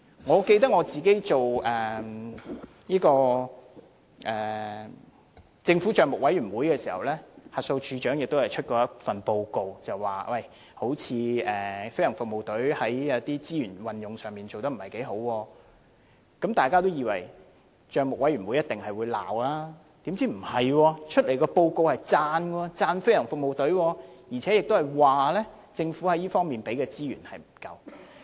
我記得我擔任政府帳目委員會成員時，審計署署長曾提交一份報告表示，飛行服務隊似乎在資源運用上做得不太好，大家也認為帳目委員會一定會責備，豈料卻剛好相反，提交的報告是稱讚飛行服務隊，並指政府在這方面提供的資源不足。